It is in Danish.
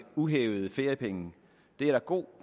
uhævede feriepenge det er der god